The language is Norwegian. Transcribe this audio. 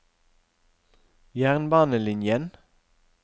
jernbanelinjen